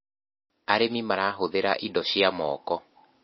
arĩmi marahuthira indo cia moko